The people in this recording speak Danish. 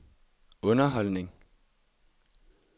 underholdning